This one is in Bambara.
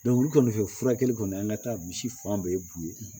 olu kɔni fɛ furakɛli kɔni an ka taa misi fan bɛɛ b'u ye